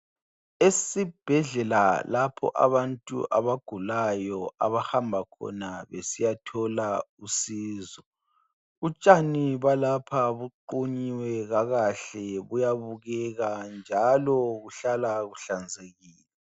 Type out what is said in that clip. Esibhedlela lapho abantu abagulayo abahamba khona besiyathola usizo, utshani balapha buqunyiwe kakahle buyabukeka njalo buhlala buhlanzekile.